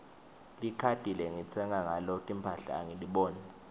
likhadi lengitsenga ngalo timphahla angiliboni